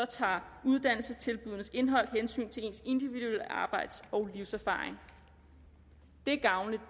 tager uddannelsestilbuddenes indhold hensyn til ens individuelle arbejds og livserfaring det er gavnligt